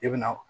I bɛna